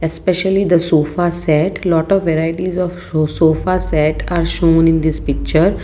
specially the sofa set lot of varieties of so-sofa set are shown in this picture.